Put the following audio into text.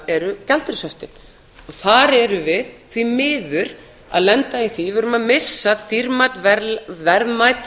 eru gjaldeyrishöftin og þar erum við því miður að lenda í því við erum að missa dýrmæt verðmæt